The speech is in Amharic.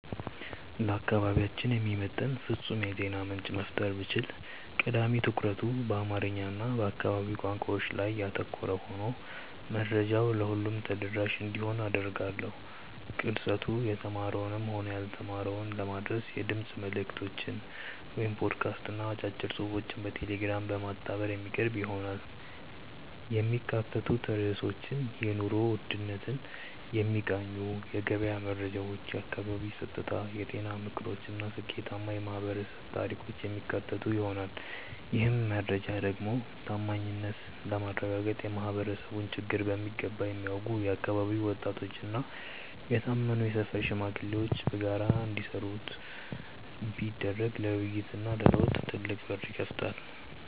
ለአካባቢያችን የሚመጥን ፍጹም የዜና ምንጭ መፍጠር ብችል፣ ቀዳሚ ትኩረቱ በአማርኛ እና በአካባቢው ቋንቋዎች ላይ ያተኮረ ሆኖ መረጃው ለሁሉም ተደራሽ እንዲሆን አደርጋለሁ። ቅርጸቱ የተማረውንም ሆነ ያልተማረውን ለማዳረስ የድምፅ መልዕክቶችን (ፖድካስት) እና አጫጭር ጽሑፎችን በቴሌግራም በማጣመር የሚቀርብ ይሆናል። የሚካተቱት ርዕሶችም የኑሮ ውድነትን የሚቃኙ የገበያ መረጃዎች፣ የአካባቢ ጸጥታ፣ የጤና ምክሮች እና ስኬታማ የማኅበረሰብ ታሪኮችን የሚያካትቱ ይሆናል። ይህን መረጃ ደግሞ ታማኝነትን ለማረጋገጥ የማኅበረሰቡን ችግር በሚገባ የሚያውቁ የአካባቢው ወጣቶችና የታመኑ የሰፈር ሽማግሌዎች በጋራ እንዲያደርሱት ቢደረግ ለውይይትና ለለውጥ ትልቅ በር ይከፍታል።